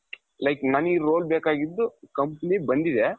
like ನನಗೆ ಈ role ಬೇಕಾಗಿದ್ದು company ಬಂದಿದೆ.